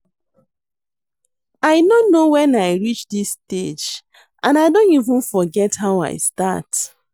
I no know wen I reach dis stage and I don even forget how I start